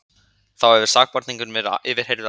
Þá hefur sakborningurinn verið yfirheyrður áfram